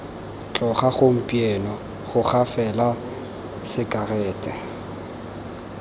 tloga gompieno goga fela disekerete